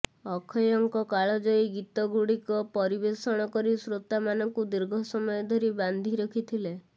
ଅକ୍ଷୟଙ୍କ କାଳଜୟୀ ଗୀତଗୁଡିକ ପରିବେଷଣ କରି ଶ୍ରୋତାମାନଙ୍କୁ ଦୀର୍ଘ ସମୟ ଧରି ବାନ୍ଧି ରଖିଥିଲେ